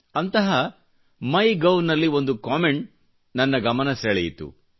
ಅಂತಹ MyGov ನಲ್ಲಿ ಒಂದು ಕಮೆಂಟ್ ನನ್ನ ಗಮನ ಸಳೆಯಿತು